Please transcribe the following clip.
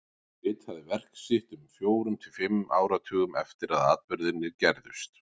Hann ritaði verk sitt um fjórum til fimm áratugum eftir að atburðirnir gerðust.